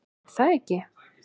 Er það ekki?